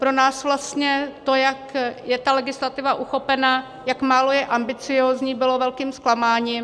Pro nás vlastně to, jak je ta legislativa uchopena, jak málo je ambiciózní, bylo velkým zklamáním.